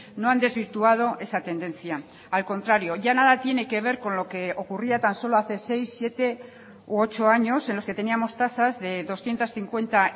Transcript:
no han desvirtuado esa tendencia al contrario ya nada tiene que ver con lo que ocurría tan solo hace seis siete u ocho años en los que teníamos tasas de doscientos cincuenta